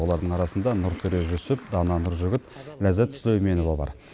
олардың арасында нұртөре жүсіп дана нұржігіт ләззат сүлейменова бар